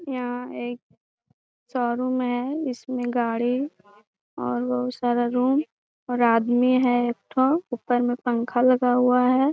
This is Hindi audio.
यहाँ एक शोरूम है। इसमें गाड़ी और बहुत सारा रूम और आदमी है एक ठो ऊपर में पंखा लगा हुआ है।